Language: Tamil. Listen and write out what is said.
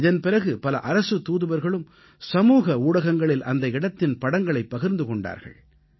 இதன் பிறகு பல அரசுத் தூதுவர்களும் சமூக ஊடகங்களில் அந்த இடத்தின் படங்களைப் பகிர்ந்து கொண்டார்கள்